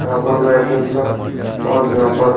यहां पर और यहां पर--